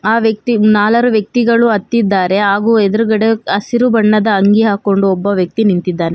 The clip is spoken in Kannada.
ಆ ವ್ಯಕ್ತಿ ನಾಲರು ವ್ಯಕ್ತಿಗಳು ಹತ್ತಿದ್ದಾರೆ ಹಾಗು ಎದ್ರುಗಡೆ ಹಸಿರು ಬಣ್ಣದ ಅಂಗಿ ಹಾಕೊಂಡು ಒಬ್ಬ ವ್ಯಕ್ತಿ ನಿಂತಿದ್ದಾನೆ.